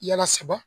Yala saba